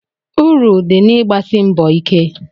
Uru dị na-igbasi mbọ ike.